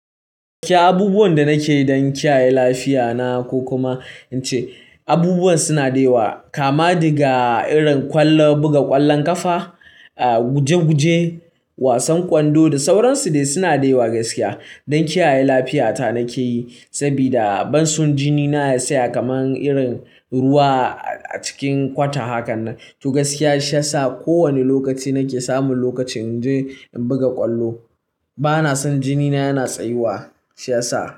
Gaskiya abubuwan da nake don kiyaye lafiya na ko kuma ice, abubuwan suna daita kama daga irin ƙwallon buga ƙwallon ƙafa, guje-guje, wasan ƙwando da sauran su dai suna daita gaskiya. Don kiyaye lafiyata nake yi sabida ban san jinina ya tsaya kamar irin ruwa a cikin kwata hakan nan. To gaskiya shi ya sa ko wane lokaci nake samun lokaci in je in buga ƙwallo bana san jinina yana tsayuwa shi ya sa.